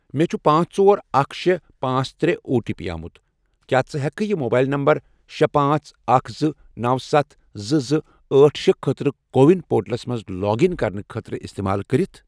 مےٚ چھُ پانژھ، ژور، اکھَ، شے، پانژھ، ترے، او ٹی پی آمُت، کیٛاہ ژٕ ہیکہٕ کھہٕ یہِ موبَیِل نمبر شے، پانژھ، اکھ، زٕ، نوَ، ستھ، زٕ، زٕ، أٹھ، شے، خٲطرٕ کو وِن پورٹلَس مَنٛز لاگ اِن کرنہٕ خٲطرٕ استعمال کٔرتھ؟